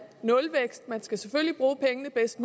nulvækst man skal selvfølgelig bruge pengene bedst